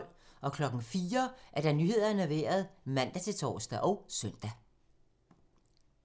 04:00: Nyhederne og Vejret (man-tor og søn)